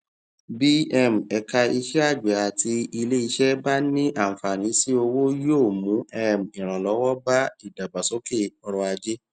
bí um ẹka iṣẹàgbẹ àti iléiṣẹ bá ní àǹfààní sí owó yóò mú um ìrànlọwọ bá ìdàgbàsókè ọrọajé